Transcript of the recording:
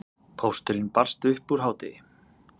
Pósturinn barst upp úr hádegi.